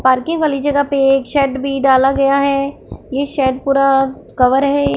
Parking वाली जगह पे एक शेड भी डाला गया है ये शेड पूरा कवर है।